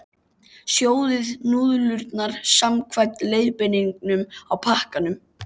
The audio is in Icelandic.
Sjóðið núðlurnar samkvæmt leiðbeiningum á pakkanum.